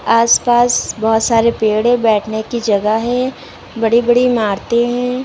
आस पास बहोत सारे पेड़ है बैठने की जगह है बड़ी बड़ी इमारते हैं।